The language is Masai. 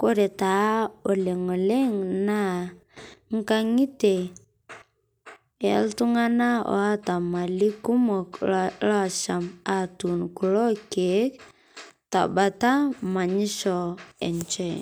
Kore taa oleng oleng naa nkaang'itie e ltung'ana oota malii kumook loishaam atuun kuloo ilkiek ta mbaata manyishoo enchee.